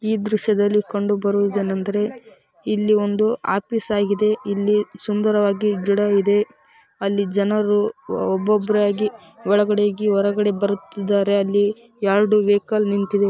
ಈ ದೃಶ್ಯದಲ್ಲಿ ಕಂಡು ಬರುವುದು ಏನೆಂದರೆ ಇಲ್ಲಿ ಒಂದು ಆಫೀಸ್‌ ಆಗಿದೆ ಇಲ್ಲಿ ಸುಂದರವಾದ ಗಿಡ ಇದೆ ಅಲ್ಲಿ ಜನರೂ ಒಬೊಬ್ಬರಾಗಿ ಒಳಗಡೆ ಹೋಗಿ ಹೊರಗಡೆ ಬರುತ್ತಿದ್ದಾರೆ ಅಲ್ಲಿ ಯಾಡ್ಡು ವೆಹಿಕಲ್‌ ನಿಂತಿವೆ.